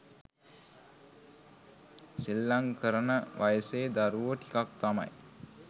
සෙල්ලං කරන වයසේ දරුවෝ ටිකක් තමයි